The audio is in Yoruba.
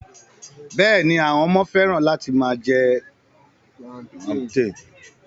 Bẹ́ẹ̀ni, àwọn ọmọ fẹ́ràn láti máa jẹ plantain